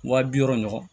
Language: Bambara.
Wa bi wɔɔrɔ ɲɔgɔn